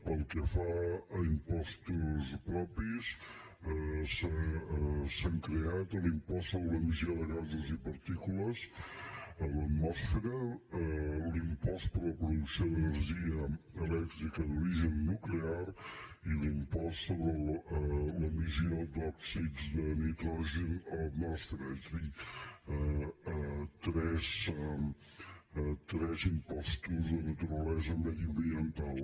pel que fa a impostos propis s’han creat l’impost sobre l’emissió de gasos i partícules a l’atmosfera l’impost per a la producció d’energia elèctrica d’origen nuclear i l’impost sobre l’emissió d’òxids de nitrogen a l’atmosfera és a dir tres impostos de naturalesa mediambiental